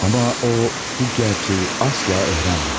Amma o bu gerçəyi asla öyrənməməli.